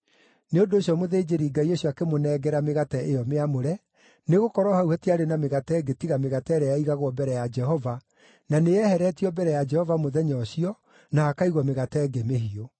Nĩ ũndũ ũcio mũthĩnjĩri-Ngai ũcio akĩmũnengera mĩgate ĩyo mĩamũre, nĩgũkorwo hau hatiarĩ na mĩgate ĩngĩ tiga mĩgate ĩrĩa yaigagwo mbere ya Jehova, na nĩyeheretio mbere ya Jehova mũthenya ũcio, na hakaigwo mĩgate ĩngĩ mĩhiũ.